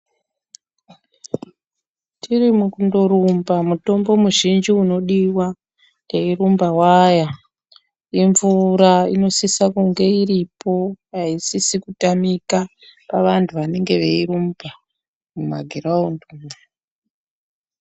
Tiri mukundorumba mitombo mizhinji inodiwa teirumba waya, imvura inosisa kunge iripo aisisi kutamika pavantu vanenge veirumba mumagiraundi umwo.